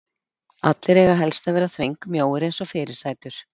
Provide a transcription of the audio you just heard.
Allir eiga helst að vera þvengmjóir eins og fyrirsætur.